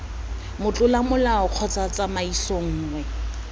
motlola molao kgotsa tsamaiso nngwe